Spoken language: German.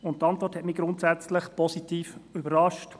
Die Antwort hat mich grundsätzlich positiv überrascht.